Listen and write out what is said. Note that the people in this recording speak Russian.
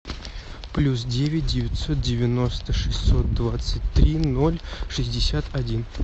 плюс девять девятьсот девяносто шестьсот двадцать три ноль шестьдесят один